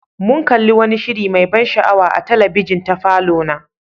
Mun kalli wani shiri mai ban sha'awa a talabijin ta falona.